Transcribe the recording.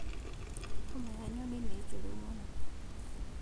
Homa ya nyoni nĩ njũru mũno